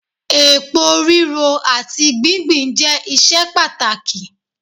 èpo riro ati gbingbin je iṣẹ pàtàkì